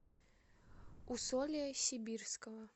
усолья сибирского